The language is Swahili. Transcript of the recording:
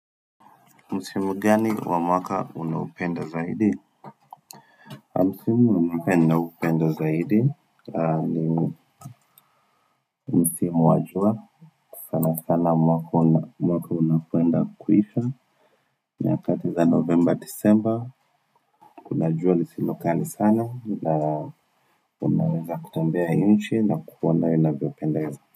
Msimu gani wa mwaka unaupenda zaidi? Msimu wa mwaka naupenda zaidi ni musimu wa jua sana sana mwaka unapoenda kuisha nyakati za novemba, disemba, unajua lisilo kali sana na Unaweza kutembea nchi na kuona inavyopendeza.